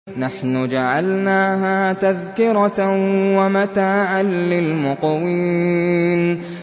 نَحْنُ جَعَلْنَاهَا تَذْكِرَةً وَمَتَاعًا لِّلْمُقْوِينَ